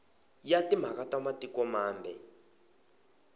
ya timhaka ta matiko mambe